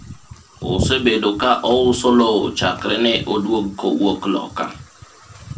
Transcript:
osebedo ka ouso lowo chakre ne odwog ka owuok Loka